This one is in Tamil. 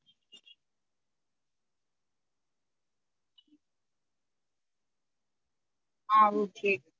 ஆஹ் okay